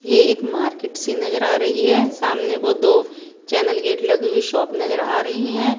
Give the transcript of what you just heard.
ये एक मार्केट सी नजर आ रही है सामने को दो चैनल गेट लगी हुई शॉप नजर आ रही हैं।